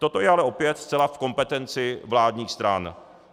Toto je ale opět zcela v kompetenci vládních stran.